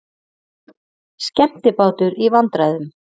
Skemmtibátur í vandræðum